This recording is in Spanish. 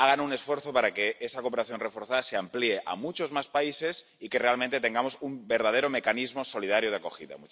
Hagan un esfuerzo para que esa cooperación reforzada se amplíe a muchos más países y realmente tengamos un verdadero mecanismo solidario de acogida.